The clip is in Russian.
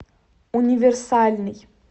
универсальный